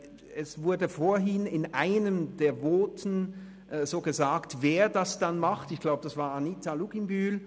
Es wurde vorhin in einem der Voten gesagt, wer es denn machen würde – ich glaube es war Anita Luginbühl.